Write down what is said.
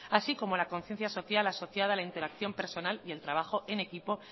así como la conciencia social asociada a la interacción personal y el trabajo en equipo